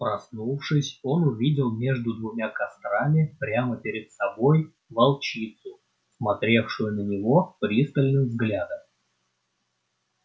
проснувшись он увидел между двумя кострами прямо перед собой волчицу смотревшую на него пристальным взглядом